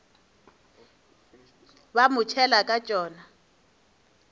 ba mo tšhela ka tšona